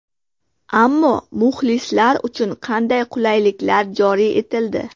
Ammo muxlislar uchun qanday qulayliklar joriy etildi?